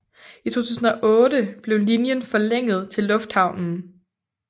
I 2008 blev linjen forlænget til Lufthavnen